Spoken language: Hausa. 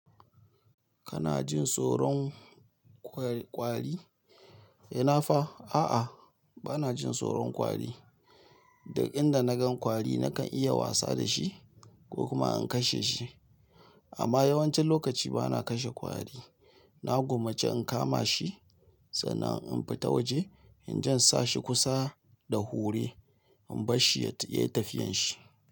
Kana jin tsoron ƙwari? Ina fa a'a, bana jin tsoron ƙwari. Duk inda nagan kwari nakan iya wasa dashi ko kuma in kashe shi. Amma yawancin lokaci bana kashe ƙwari. Na gwammace in kama shi sannan in fita waje in je in sa shi kusa da hure in bar shi ya yi tafiyan shi.